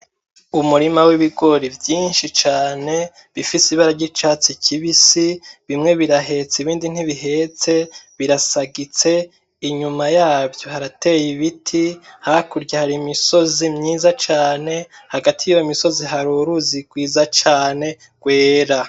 Umurima w'ibigori vyinshi cane bifise ibara ry'icatsi kibisi bimwe birahetse ibindi ntibihetse birasagitse inyuma yavyo harateye ibiti hakurya hari imisozi myinshi myiza cane hagati yiyo misozi hari uruzi rwiza cane rwera.